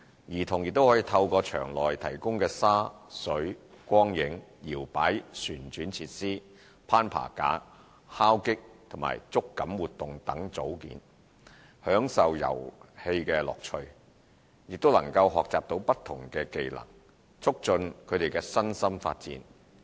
兒童可透過場內提供的沙、水、光影、搖擺旋轉設施、攀爬架、敲擊及觸感活動組件等，享受遊戲樂趣，亦能學習到不同的技能，促進他們的身心發展。